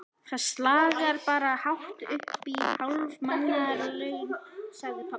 Það slagar bara hátt uppí hálf mánaðarlaun, sagði pabbi.